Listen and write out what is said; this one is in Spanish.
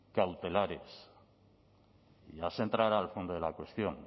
cautelares ya se entrará al fondo de la cuestión